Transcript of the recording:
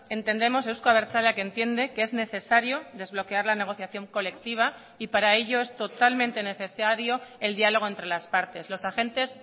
entendemos euzko abertzaleak entiende que es necesario desbloquear la negociación colectiva y para ello es totalmente necesario el diálogo entre las partes los agentes